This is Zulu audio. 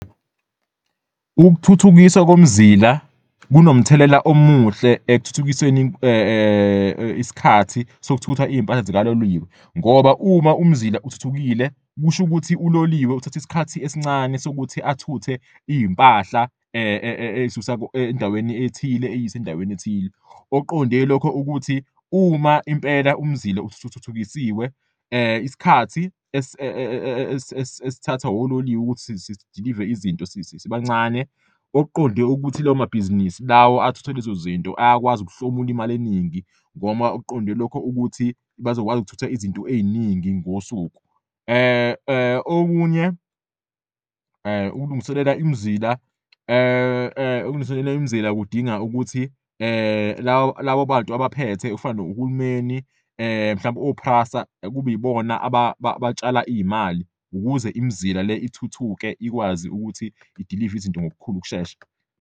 Ukuthuthukiswa komzila kunomthelela omuhle ekuthuthukiseni isikhathi sokuthutha iy'mpahla zikaloliwe ngoba uma umzila uthuthukile, kusho ukuthi uloliwe uthatha isikhathi esincane sokuthi athuthe iy'mpahla, ey'susa endaweni ethile, eyise endaweni ethile. Okuqonde lokho ukuthi uma impela umzila usuthuthukisiwe isikhathi esithatha ololiwe ukuthi sidilive izinto sibancane, okuqonde ukuthi lawo mabhizinisi lawo athutha lezo zinto ayakwazi ukuhlomula imali eningi ngoma okuqonde lokho ukuthi bazokwazi ukuthutha izinto ey'ningi ngosuku. Okunye, ukulungiselela imizila kudinga ukuthi labo bantu abaphethe, okufana nohulumeni, mhlawumbe o-PRASSA, kube yibona abatshala iy'mali ukuze imizila le ithuthuke, ikwazi ukuthi idilive izinto ngokukhulu ukushesha.